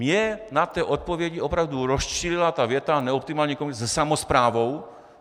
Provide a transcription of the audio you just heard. Mě na té odpovědi opravdu rozčílila ta věta "neoptimální komunikace se samosprávou".